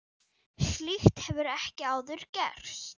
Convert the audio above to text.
Slíkt hefur ekki áður gerst.